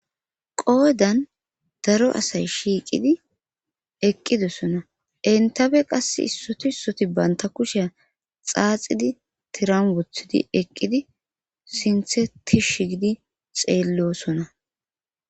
Qoodan daro asay shiiqidi eqqidosona entafe qassi issoti issoti banta kusheya xaaxidi tiran woththidi eqqidi sinththe tish gidi xeellosona